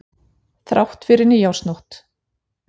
Þrátt fyrir nýársnótt.